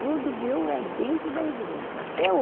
Tudo meu é dentro da igreja, até